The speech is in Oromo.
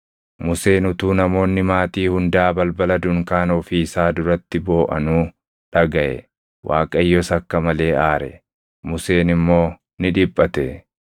Museen utuu namoonni maatii hundaa balbala dunkaana ofii isaa duratti booʼanuu dhagaʼe. Waaqayyos akka malee aare; Museen immoo ni dhiphate.